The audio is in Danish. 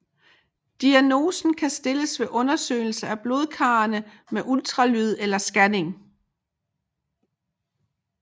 Diagnosen kan stilles ved undersøgelse af blodkarrene med ultralyd eller scanning